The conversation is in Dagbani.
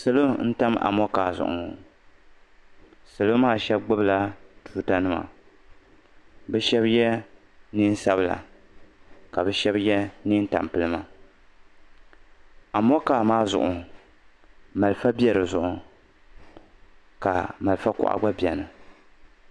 Salo n-tam amɔŋkaa zuɣu ŋɔ. Salo maa shɛba gbibila tuutanima bɛ shɛba ye neen' sabila ka bɛ shɛba ye neen' tampilima. Amɔŋkaa maa zuɣu malifa beni ka malifa kuɣa gba beni.